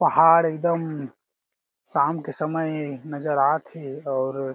पहाड़ एकदम शाम के समय नज़र आत हे और--